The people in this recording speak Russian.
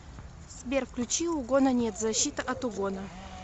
сбер включи угона нет защита от угона